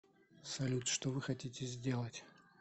салют что вы хотите сделать